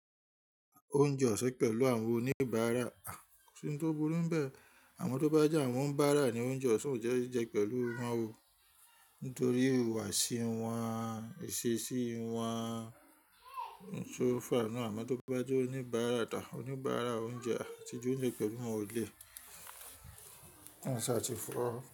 Oúnjẹ ọ̀sán pẹ̀lú àwọn oníbàárà kò sí ohun tó burú níbẹ̀, àmọ́ tó bá jẹ́ àwọn oníbáárà ní oúnjẹ ọ̀sán kò sì jẹ́ pẹ̀lú wọn, nítorí ìhùwàsí wọn, ìṣesí wọn un tó fà á náà. Àmọ́ tó bá jẹ́ oníbàárà tà, oníbàárà oúnjẹ àt8li jẹ oúnjẹ pẹ̀lú wọn ó le, ki eeyan ṣá ti ìfọ.